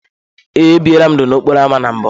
Ee, ebiela m ndụ n’okporo ámá na mbụ.